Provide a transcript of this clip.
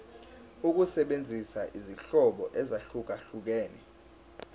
ukusebenzisa izinhlobo ezahlukehlukene